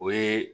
O ye